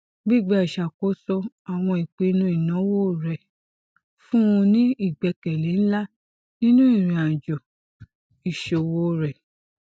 gbigba iṣakoso awọn ipinnu inawo rẹ fun u ni igbẹkẹle nla ninu irinajo iṣowo rẹ